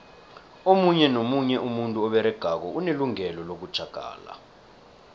omunye nomunye umuntu oberegako unelungelo lokutjhagala